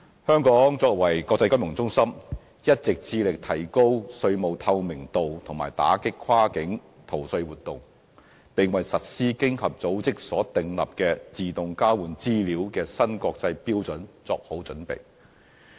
香港作為國際金融中心，一直致力提高稅務透明度和打擊跨境逃稅活動，並為實施經濟合作與發展組織就稅務事宜自動交換財務帳戶資料所訂立的新國際標準作好準備。